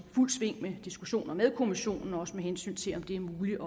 fuldt sving med diskussioner med kommissionen også med hensyn til om det er muligt